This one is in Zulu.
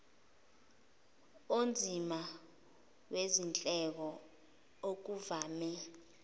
onzima wezindleko okuvame